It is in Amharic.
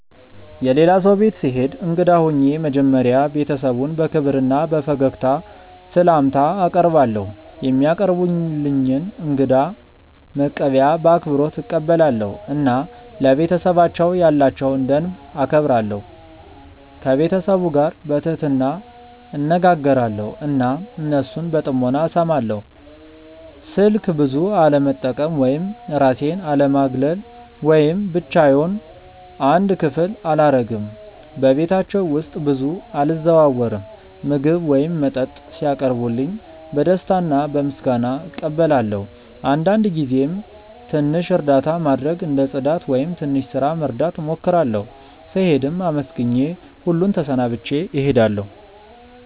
የሌላ ሰው ቤት ስሄድ እንግዳ ሆኜ መጀመሪያ ቤተሰቡን በክብር እና በፈገግታ ስላምታ አቀርባለው፧ የሚያቀርቡልኝን እንግዳ መቀበያ በአክብሮት እቀበላለሁ እና ለቤተሰባቸው ያላቸውን ደንብ እከብራለሁ። ከቤተሰቡ ጋር በትህትና እነጋገራለው እና እነሱን በጥሞና እስማለው። ስልክ ብዙ አለመጠቀም ወይም እራሴን አለማግለል ወይም ብቻዮን አንድ ክፍል አላረግም በቤታቸው ውስጥ ብዙ አልዘዋወርም። ምግብ ወይም መጠጥ ሲያቀርቡልኝ በደስታ እና በምስጋና እቀበላለው አንዳንድ ጊዜም ትንሽ እርዳታ ማድረግ እንደ ጽዳት ወይም ትንሽ ስራ መርዳት እሞክራለሁ። ስሄድም አመስግኜ ሁሉን ተሰናብቼ እሄዳለሁ።